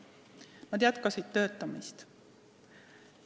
Nad jätkasid töötamist.